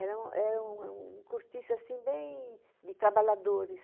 Era um era um é um cortiço, assim, bem de trabalhadores.